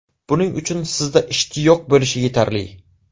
Buning uchun sizda ishtiyoq bo‘lishi yetarli.